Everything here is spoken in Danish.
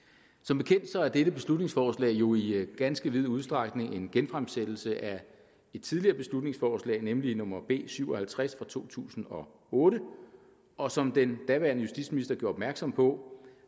som bekendt er dette beslutningsforslag jo i ganske vid udstrækning en genfremsættelse af et tidligere beslutningsforslag nemlig nummer b syv og halvtreds fra to tusind og otte og som den daværende justitsminister gjorde opmærksom på